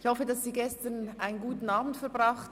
Ich hoffe, Sie haben gestern einen guten Abend verbracht.